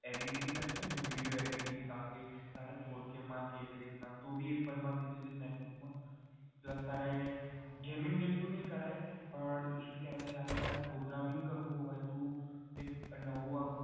editing કરવી હોય video editing કારણ કે તારે four k માં કે એવી રીતના તું ભી apple માંથી જે macbook માં plus તારે gaming જેટલું નહીં કરાય પણ તારે programming કરવું હોય તું એક નવું આમ